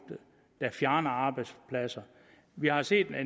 der fjerner arbejdspladser vi har set at